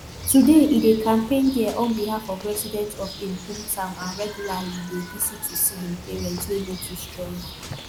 today e dey campaign dia on behalf of residents of im hometown and regularly dey visit to see im parents wey no too strong